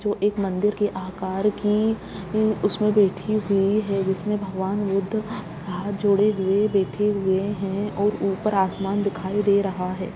जो एक मंदिर के आकार की उ उसमें बैठी हुई हैं जिसमें भगवान बुद्ध हाथ जोड़े बैठे हुए हैं और ऊपर आसमान दिखाई दे रहा है।